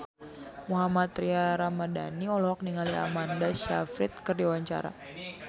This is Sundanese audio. Mohammad Tria Ramadhani olohok ningali Amanda Sayfried keur diwawancara